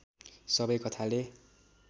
सबै कथाले